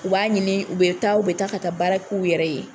U b'a ɲini ,u be taa ka taa baara kɛ u yɛrɛ ye.